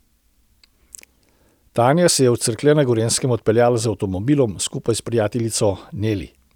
Tanja se je v Cerklje na Gorenjskem odpeljala z avtomobilom skupaj s prijateljico Neli.